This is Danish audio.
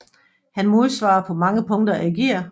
Han modsvarer på mange punkter Ægir